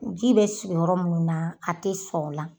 Ji bɛ sigiyɔrɔ minnu na, a tɛ sɔrɔ la.